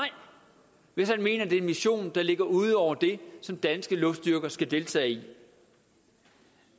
hvis han mener det er en mission der ligger ud over det som danske luftstyrker skal deltage i